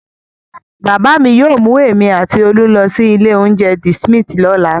Bàbá mi yóò mú èmi àti Olú lọ sí ilé-oúnjẹ The Smith lọ́la.